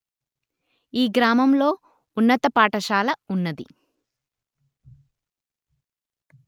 ఈ గ్రామములో ఉన్నత పాఠశాల ఉన్నది